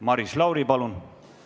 Maris Lauri, palun!